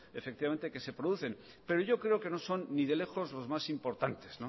que efectivamente se producen pero yo creo que no son ni de lejos los más importantes